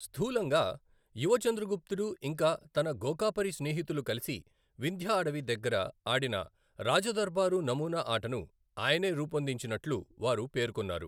స్థూలంగా, యువ చంద్రగుప్తుడు ఇంకా తన గోకాపరి స్నేహితులు కలిసి వింధ్యా అడవి దగ్గర ఆడిన రాజదర్బారు నమూనా ఆటను ఆయనే రూపొందించినట్లు వారు పేర్కొన్నారు.